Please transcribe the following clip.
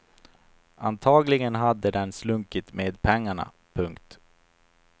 Antagligen hade den slunkit med pengarna. punkt